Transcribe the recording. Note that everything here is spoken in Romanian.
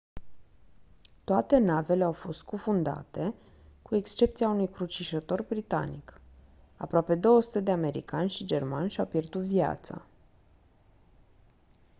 toate navele au fost scufundate cu excepția unui crucișător britanic aproape 200 de americani și germani și-au pierdut viața